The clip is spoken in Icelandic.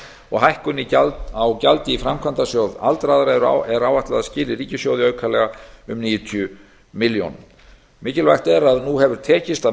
og hækkun á gjaldi í framkvæmdasjóð aldraðra er áætlað að skili ríkissjóði aukalega níutíu milljónum mikilvægt er að nú hefur tekist að